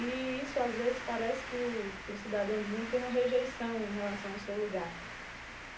E isso, às vezes, parece que o que o cidadão do mundo tem uma rejeição em relação ao seu lugar.